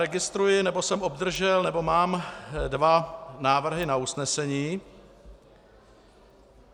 Registruji, nebo jsem obdržel, nebo mám dva návrhy na usnesení.